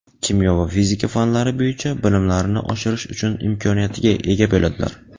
kimyo va fizika fanlari bo‘yicha bilimlarini oshirish uchun imkoniyatiga ega bo‘ladilar.